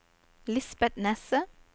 Lisbet Nesset